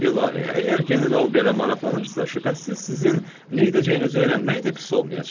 İlahi, əgər general belə maraqlanırsa, şübhəsiz sizin nə edəcəyinizi öyrənmək də pis olmayacaq.